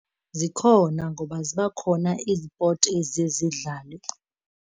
Zikhona ngoba ziba khona iizipothi eziye zidlalwe.